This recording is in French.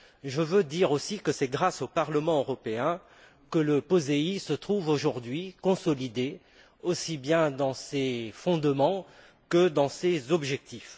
Je veux dire aussi que c'est grâce au Parlement européen que le POSEI se trouve aujourd'hui consolidé, aussi bien dans ses fondements que dans ses objectifs.